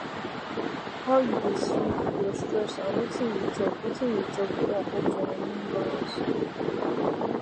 how you dey sleep your stress and wetin you chop wetin you chop fit affect your hormone balance